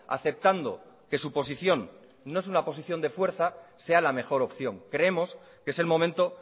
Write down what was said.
aceptando que su posición no es una posición de fuerza sea la mejor opción creemos que es el momento